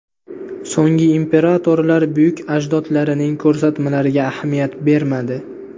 So‘nggi imperatorlar buyuk ajdodlarining ko‘rsatmalariga ahamiyat bermadi.